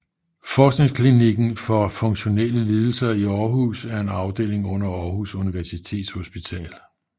Forskningsklinikken for funktionelle lidelser i Århus er en afdeling under Århus Universitetshospital